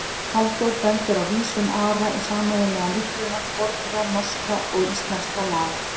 Halldór bendir á vísun Ara í sameiginlegan uppruna fornra norskra og íslenskra laga.